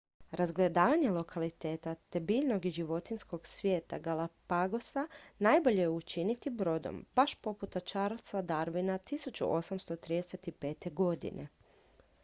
razgledavanje lokaliteta te biljnog i životinjskog svijeta galapagosa najbolje je učiniti brodom baš poput charlesa darwina 1835. godine